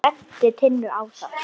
Hann benti Tinnu á það.